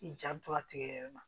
I ja bɛ to a tigɛ yɛrɛ ma